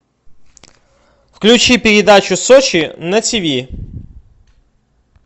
включи передачу сочи на тиви